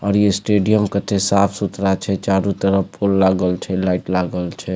और ई स्टेडियम कत्ते साफ-सुथरा छे चारो तरफ फूल लागल छे लाइट लागल छे।